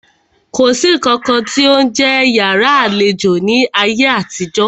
Kò sí nǹkan tí ó ń jẹ́ yàrá àlejò ní ayé àtijó.